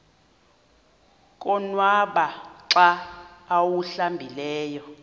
konwaba xa awuhlambileyo